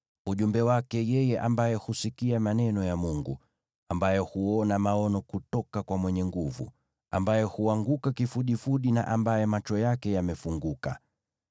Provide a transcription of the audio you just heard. ujumbe wake yeye ambaye husikia maneno ya Mungu, ambaye huona maono kutoka kwa Mwenyezi, ambaye huanguka kifudifudi, na ambaye macho yake yamefunguka: